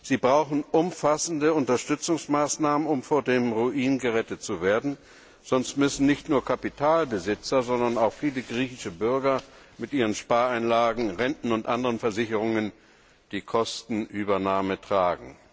Sie brauchen umfassende Unterstützungsmaßnahmen, um vor dem Ruin gerettet zu werden, sonst müssen nicht nur Kapitalbesitzer, sondern auch viele griechische Bürger mit ihren Spareinlagen, Renten und andern Versicherungen die Kosten tragen.